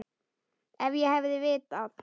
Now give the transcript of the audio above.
Ef ég hefði vitað.